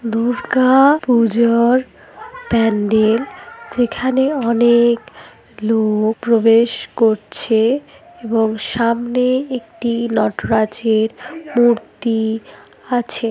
দুর্গা --পূজার প্যান্ডেল যেখানে অনেক লোক প্রবেশ করছে এবং সামনে একটি নট-রাজের মূর্তি -আছে।